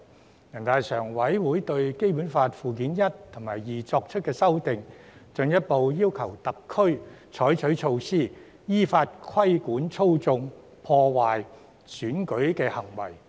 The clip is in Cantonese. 全國人大常務委員會亦對《基本法》附件一和附件二作出修訂，進一步要求特區採取措施，依法規管操縱、破壞選舉的行為。